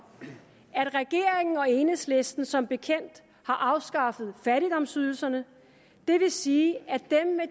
at regeringen og enhedslisten som bekendt har afskaffet fattigdomsydelserne det vil sige at